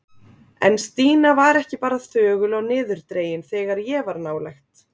En Stína var ekki bara þögul og niðurdregin þegar ég var nálægt.